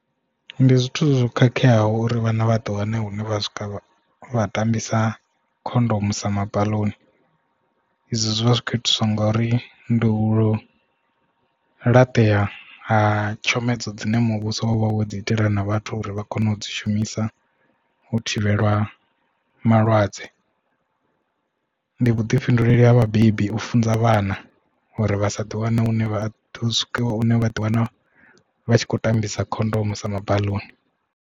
Ndi zwithu zwo khakheaho uri vhana vha ḓiwane hune vha tambisa khondomu sa mabaḽoni izwo zwivha zwikho itiswa ngauri ndi u laṱea ha tshomedzo dzine muvhuso wavha wo dzi itela na vhathu uri vha kone u dzi shumisa u thivhela malwadze. Ndi vhuḓifhinduleli ha vhabebi u funza vhana uri vha sa ḓi wana hune vha ḓi wana vha tshi kho tambisa khondomo sa mabaḽoni.